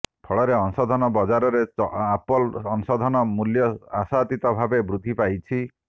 ଫଳରେ ଅଂଶଧନ ବଜାରରେ ଆପଲ ଅଂଶଧନ ମୂଲ୍ୟ ଆଶାତୀତ ଭାବେ ବୃଦ୍ଧି ପାଇଛି